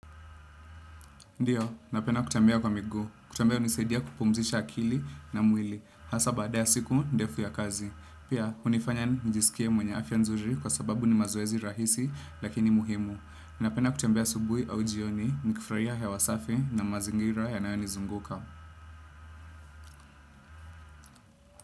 Ndiyo, napenda kutembea kwa miguu. Kutembea hunisaidia kupumzisha akili na mwili. Hasa baada ya siku, ndefu ya kazi. Pia, hunifanya njisikie mwenye afya nzuri kwa sababu ni mazoezi rahisi lakini muhimu. Napenda kutembea asubuhi au jioni, nikifurahia hewa safi na mazingira yanayonizunguka.